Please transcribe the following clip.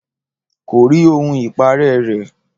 Kò rí ohun ìparẹ́ rẹ̀